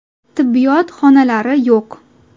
Tibbiyot xonalari yo‘q.